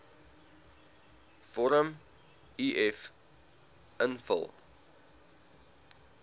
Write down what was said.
vorm uf invul